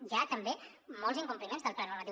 hi ha també molts incompliments del pla normatiu